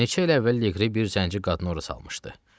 Neçə il əvvəl Leqri bir zənci qadını ora salmışdı.